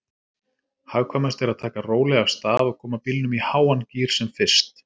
Hagkvæmast er að taka rólega af stað og koma bílnum í háan gír sem fyrst.